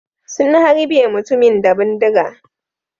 Sun harbe mutumin da bindiga.